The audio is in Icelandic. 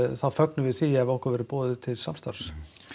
þá fögnum við því ef okkur verður boðið til samstarfs